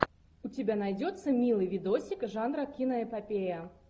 у тебя найдется милый видосик жанра киноэпопея